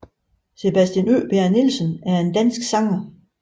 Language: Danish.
Sebastian Øberg Nielsen er en dansk sanger